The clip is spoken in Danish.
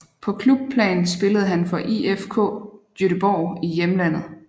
På klubplan spillede han for IFK Göteborg i hjemlandet